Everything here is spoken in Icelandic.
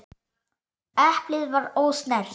Eplið var ósnert.